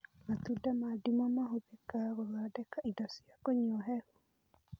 Matunda ma ndimũ mahũthĩka gũthondeka indo cia kũnywa hehu